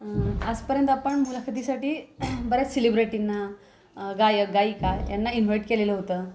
आज पर्यंत आपण मुलाखाती साठी बऱ्याच सेलिब्रेटींना गायक गायिका यांना इनव्हाईट केलेल होत.